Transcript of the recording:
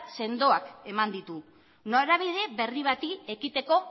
sendoak eman ditu norabide berri bati ekiteko